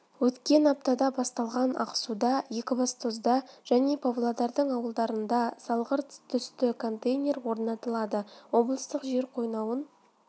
өткен аптада басталған ақсуда екібастұзда және павлодардың аулаларында сарғылт түсті контейнер орнатылады облыстық жер қойнауын